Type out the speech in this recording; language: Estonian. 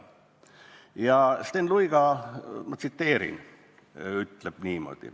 Ja Sten Luiga – ma tsiteerin – ütleb niimoodi ...